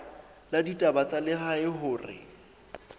la ditaba tsa lehae hore